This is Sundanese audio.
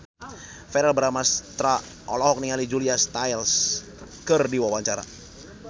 Verrell Bramastra olohok ningali Julia Stiles keur diwawancara